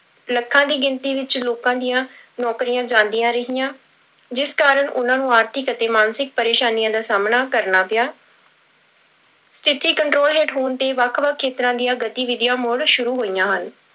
ਲੱਖਾਂ ਦੀ ਗਿਣਤੀ ਵਿੱਚ ਲੋਕਾਂ ਦੀਆਂ ਨੌਕਰੀਆਂ ਜਾਂਦੀਆਂ ਰਹੀਆਂ, ਜਿਸ ਕਾਰਨ ਉਹਨਾਂ ਨੂੰ ਆਰਥਿਕ ਅਤੇ ਮਾਨਸਿਕ ਪਰੇਸਾਨੀਆਂ ਦਾ ਸਾਹਮਣਾ ਕਰਨਾ ਪਿਆ ਸਥਿੱਤੀ control ਹੇਠ ਹੋਣ ਤੇ ਵੱਖ ਵੱਖ ਖੇਤਰਾਂ ਦੀਆਂ ਗਤੀਵਿਧੀਆਂ ਮੁੜ ਸ਼ੁਰੂ ਹੋਈਆਂ ਹਨ।